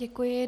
Děkuji.